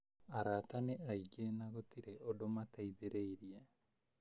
Arata nĩaingĩ na gũtirĩ ũndũ mateithĩrĩirie